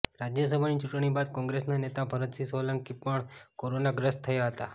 રાજ્યસભાની ચૂંટણી બાદ કોંગ્રેસના નેતા ભરતસિંહ સોલંકી પણ કોરોનાગ્રસ્ત થયા હતા